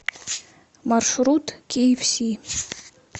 маршрут киэфси